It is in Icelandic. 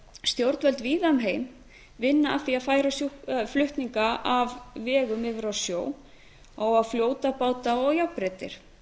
stjórnvöld víða um heim vinna að því að færa flutninga af vegum yfir á sjó fljótabáta og járnbrautir